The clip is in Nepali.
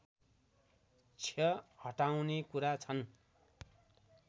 क्ष हटाउने कुरा छन्